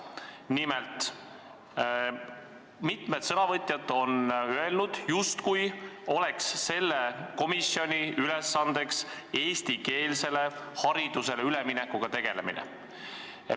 Nimelt, mitmed sõnavõtjad on öelnud, justkui oleks selle komisjoni ülesanne eestikeelsele haridusele üleminekuga tegelemine.